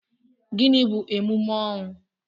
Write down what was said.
Gịnị bu emume ọnwụ?